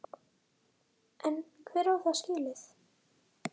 En hver á það skilið?